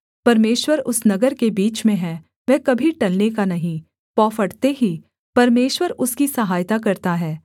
परमेश्वर उस नगर के बीच में है वह कभी टलने का नहीं पौ फटते ही परमेश्वर उसकी सहायता करता है